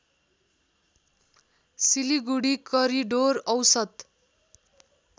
Siliguri corridor औसत